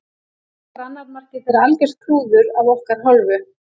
Svo var annað markið þeirra algjört klúður af okkar hálfu.